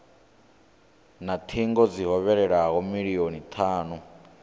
na thingo dzi hovhelelaho milioni thanu